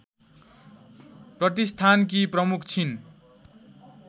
प्रतिष्ठानकी प्रमुख छिन्